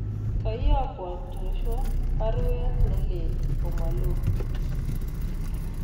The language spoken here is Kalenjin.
Koiyokwan Joshua baruet nelelach komalo